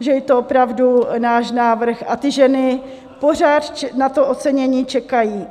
že je to opravdu náš návrh a ty ženy pořád na to ocenění čekají.